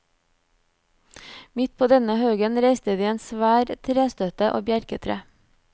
Midt på denne haugen reiste de en svær trestøtte av bjerketre.